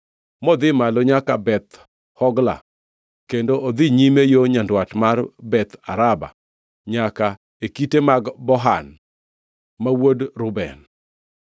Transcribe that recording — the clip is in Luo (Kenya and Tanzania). modhi malo nyaka Beth Hogla kendo odhi nyime yo nyandwat mar Beth Araba nyaka e kite mag Bohan ma wuod Reuben.